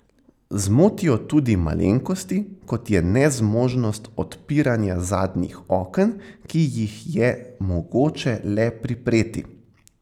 Zmotijo tudi malenkosti, kot je nezmožnost odpiranja zadnjih oken, ki jih je mogoče le pripreti.